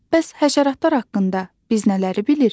Bəs həşəratlar haqqında biz nələri bilirik?